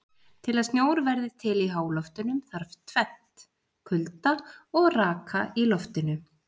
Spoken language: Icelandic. Til að snjór verði til í háloftunum þarf tvennt: Kulda og raka í loftinu.